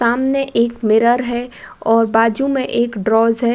सामने एक मिरर है और बाजू में एक है।